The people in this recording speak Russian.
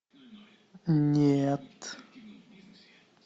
нет